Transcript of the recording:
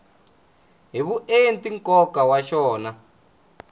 hi vuenti nkoka wa xona